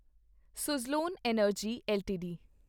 Suzlon energy LTD